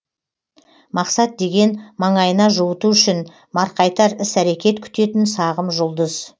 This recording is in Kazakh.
мақсат деген маңайына жуыту үшін марқайтар іс әрекет күтетін сағым жұлдыз